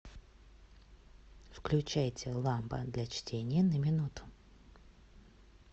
включайте лампа для чтения на минуту